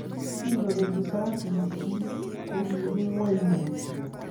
Kingopek risasik chik ko kiru nguny mutyo.